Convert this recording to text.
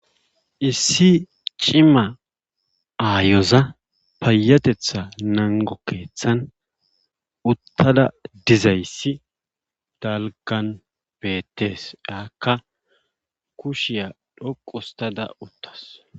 Issi cimma ayoza payatetha nango keethan uttada dizayssi dalgan beetees. aakka kushiya dhoqustada uttawus.